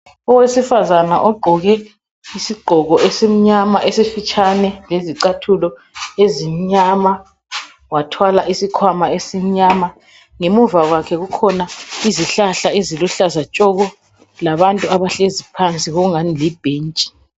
Owesifazana ogqoke isigqoko esimnyama esifitshane lezicathulo ezimnyama wathwala isikhwama esimnyama. Ngemuva kwakhe kukhona izihlahla eziluhlaza tshoko! labantu abahlezi phansi kokungani libhentshi.